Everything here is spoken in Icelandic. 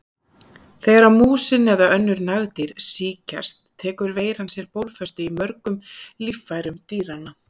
Þegar músin eða önnur nagdýr sýkjast tekur veiran sér bólfestu í mörgum líffærum dýranna.